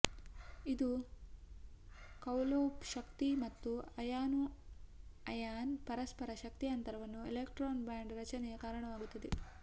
ಇದು ಕೌಲೊಬ್ ಶಕ್ತಿ ಮತ್ತು ಅಯಾನು ಐಯಾನ್ ಪರಸ್ಪರ ಶಕ್ತಿ ಅಂತರವನ್ನು ಎಲೆಕ್ಟ್ರಾನ್ ಬ್ಯಾಂಡ್ ರಚನೆಯ ಕಾರಣವಾಗುತ್ತದೆ